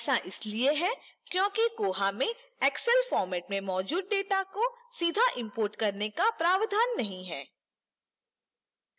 ऐसा इसलिए है क्योंकि koha में excel format में मौजूद data को सीधे import करने का प्रावधान नहीं है